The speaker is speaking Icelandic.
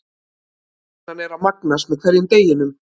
Spennan er að magnast með hverjum deginum.